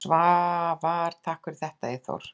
Svavar: Takk fyrir þetta Eyþór.